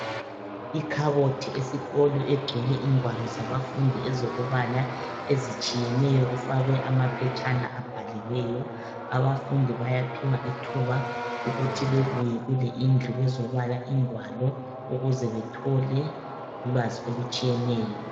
Ikhabothi esikolo egcwele ingwalo zabafundi ezokubala ezitshiyeneyo kufakwe amaphetshana abhaliweyo abafundi bayaphiwa ithuba ukuthi bebuye kule indlu bezobala ingwalo ukuze bethole ulwazi olutshiyeneyo.